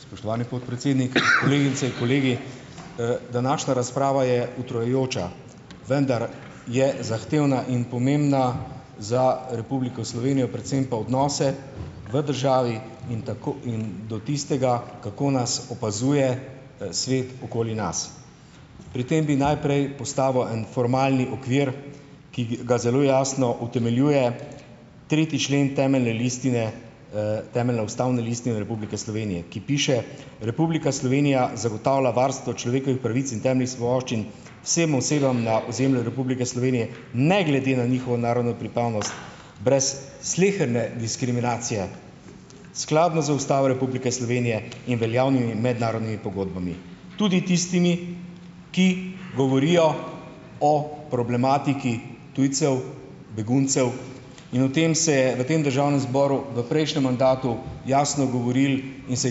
Spoštovani podpredsednik, kolegice, kolegi! Današnja razprava je utrujajoča, vendar je zahtevna in pomembna za Republiko Slovenijo, predvsem pa odnose v državi in in do tistega, kako nas opazuje, svet okoli nas. Pri tem bi najprej postavil en formalni okvir, ki ga zelo jasno utemeljuje tretji člen temelje listine, temeljne ustavne listine Republike Slovenije, ki piše, Republika Slovenija zagotavlja varstvo človekovih pravic in temeljnih svoboščin vsem osebam na ozemlju Republike Slovenije ne glede na njihovo narodno pripadnost brez sleherne diskriminacije, skladno z Ustavo Republike Slovenije in veljavnimi mednarodnimi pogodbami, tudi tistimi, ki govorijo o problematiki tujcev, beguncev, in o tem se je v tem državnem zboru v prejšnjem mandatu jasno govorilo in se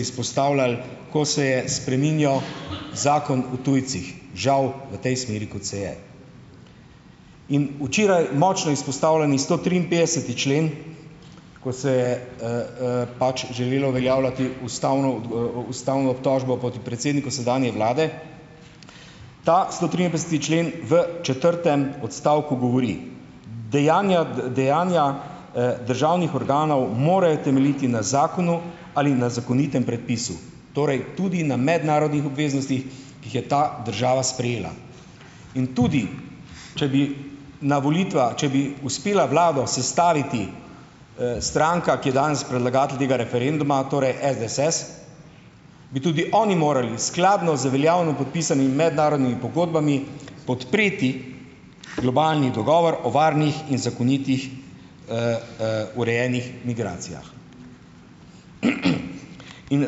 izpostavljalo, ko se je spreminjal zakon o tujcih, žal v tej smeri, kot se je. In včeraj močno izpostavljeni stotriinpetdeseti člen, ko se je, pač želelo uveljavljati ustavno ustavno obtožbo poti predsedniku sedanje vlade, ta stotriinpetdeseti člen v četrtem odstavku govori, dejanja dejanja, državnih organov morajo temeljiti na zakonu ali na zakonitem predpisu, torej tudi na mednarodnih obveznostih, ki jih je ta država sprejela, in tudi če bi na volitvah, če bi uspela vlado sestaviti, stranka, ki je danes predlagatelj tega referenduma, torej SDS, bi tudi oni morali skladno z veljavno podpisanimi mednarodnimi pogodbami podpreti globalni dogovor o varnih in zakonitih, urejenih migracijah. In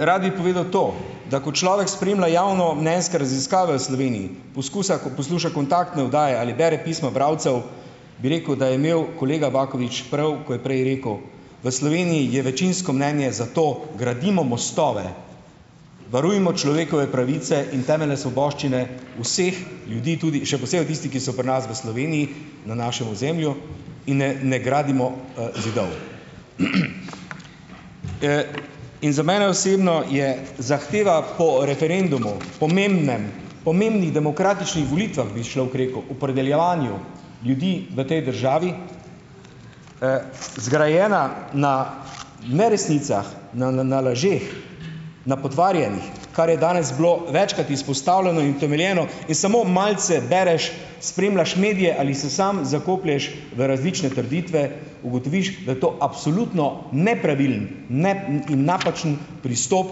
rad bi povedal to, da ko človek spremlja javnomnenjske raziskave v Sloveniji, poskusa, ko posluša kontaktne oddaje ali bere pisma bralcev, bi rekel, da je imel kolega Bakovič prav, ko je prej rekel, v Sloveniji je večinsko mnenje, zato gradimo mostove, varujmo človekove pravice in temeljne svoboščine vseh ljudi, tudi še posebej tistih, ki so pri nas v Sloveniji, na našem ozemlju, in ne, ne gradimo, zidov. In za mene osebno je zahteva po referendumu, pomembnem, pomembnih demokratičnih volitvah, bi človek rekel, opredeljevanju ljudi v tej državi, zgrajena na neresnicah, na lažeh, na potvarjanjih, kar je danes bilo večkrat izpostavljeno in utemeljeno, in samo malce bereš, spremljaš medije ali se samo zakoplješ v različne trditve, ugotoviš, da je to absolutno nepravilen in napačen pristop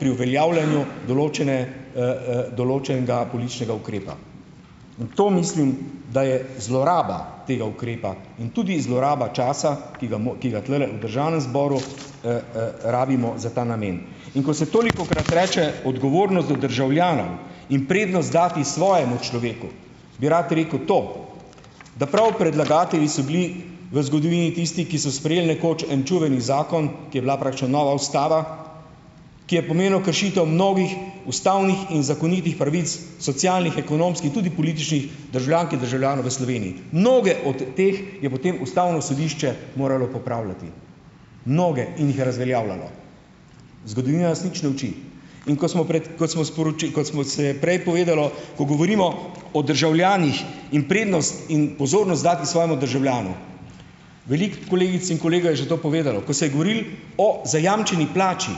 pri uveljavljanju določene, določenega političnega ukrepa. In to mislim, da je zloraba tega ukrepa in tudi zloraba časa, ki ga tulele v državnem zboru, rabimo za ta namen. In ko se tolikokrat reče odgovornost do državljanov in prednost dati svojemu človeku, bi rad rekel to, da prav predlagatelji so bili v zgodovini tisti, ki so sprejeli nekoč en čuveni zakon, ki je bila praktično nova ustava, ki je pomenil kršitev mnogih ustavnih in zakonitih pravic socialnih, ekonomskih, tudi političnih, državljank in državljanov Slovenje. Mnoge od teh je potem ustavno sodišče moralo popravljati, mnoge in jih je razveljavljalo. Zgodovina nas nič ne uči. In ko smo pred, kot smo kot smo se prej povedalo, ko govorimo o državljanih, in prednost in pozornost dati svojemu državljanu, veliko kolegic in kolega je že to povedalo, ko se je govorilo o zajamčeni plači,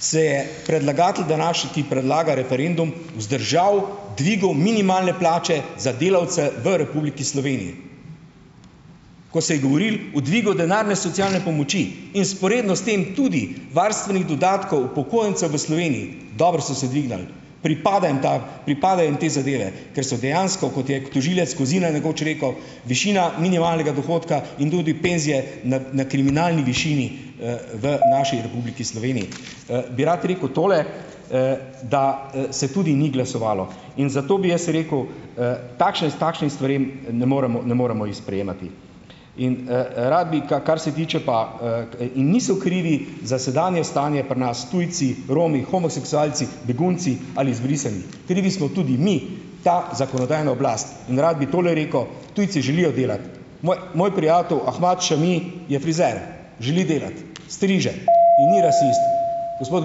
se je predlagatelj, ki predlaga referendum, vzdržal dvigu minimalne plače za delavce v Republiki Sloveniji. Ko se je govorilo o dvigu denarne socialne pomoči in vzporedno s tem tudi varstvenih dodatkov upokojencev v Sloveniji, dobro, so se dvignili, pripada jim ta, pripadajo jim te zadeve, ker so dejansko, kot je tožilec Kozina nekoč rekel, višina minimalnega dohodka in tudi penzije na na kriminalni višini, v naši Republiki Sloveniji. Bi rad rekel tole, da, se tudi ni glasovalo. In zato bi jaz rekel, takšne takšnim stvarem, ne moremo, ne moremo jih sprejemati. In, rad bi, k kar se tiče pa, niso krivi za sedanje stanje pri nas tujci, Romi, homoseksualci, begunci ali izbrisani. Krivi smo tudi mi, ta zakonodajna oblast. In rad bi tole rekel, tujci želijo delati. Moj moj prijatelj Ahmad Šami je frizer, želi delati , striže in ni rasist. Gospod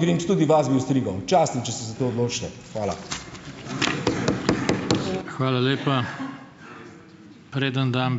Grims, tudi vas bi ostrigel. Častim, če se za to odločite. Hvala.